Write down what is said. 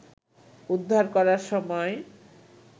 উদ্ধার করার সময়